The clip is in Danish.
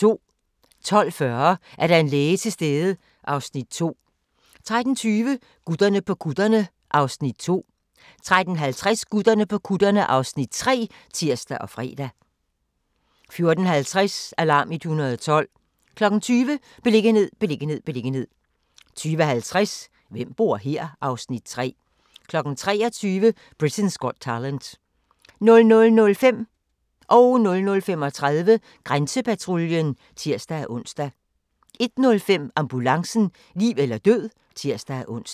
12:40: Er der en læge til stede? (Afs. 2) 13:20: Gutterne på kutterne (Afs. 2) 13:50: Gutterne på kutterne (Afs. 3)(tir og fre) 14:50: Alarm 112 20:00: Beliggenhed, beliggenhed, beliggenhed 20:50: Hvem bor her? (Afs. 3) 23:00: Britain's Got Talent 00:05: Grænsepatruljen (tir-ons) 00:35: Grænsepatruljen (tir-ons) 01:05: Ambulancen - liv eller død (tir-ons)